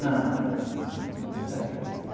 Não, não, nunca fiz isso.